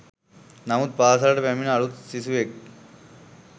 නමුත් පාසලට පැමිනෙන අලුත් සිසුවෙක්